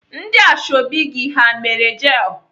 Ndị ashọbị gị ha mere jel?